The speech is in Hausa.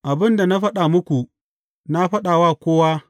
Abin da na faɗa muku, na faɗa wa kowa.